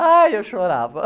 Ai, eu chorava.